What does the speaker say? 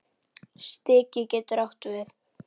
Stiki getur átt við